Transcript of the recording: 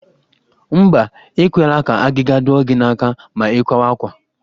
Mba, e kwekwala ka agịga dụọ gị n'aka ma ị kwawa àkwá